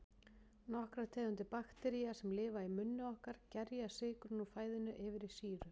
Nokkrar tegundir baktería, sem lifa í munni okkar, gerja sykurinn úr fæðunni yfir í sýru.